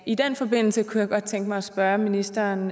i den forbindelse kunne jeg godt tænke mig at spørge ministeren